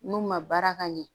N'u ma baara ka ɲɛ